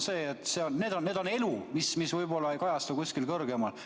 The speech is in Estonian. See on elu, mis võib-olla ei kajastu kuskil kõrgemal.